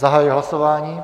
Zahajuji hlasování.